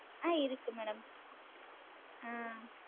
ஆஹ் இருக்கு madam ஆஹ்